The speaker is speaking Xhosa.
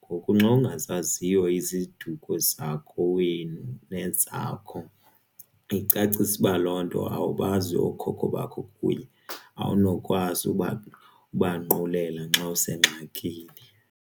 Ngoku nxawungazaziyo iziduko zakowenu nezakho icacisa uba loo nto awubazi okhokho bakho kunye awunokwazi uba, ubanqulela nxawusengxakini.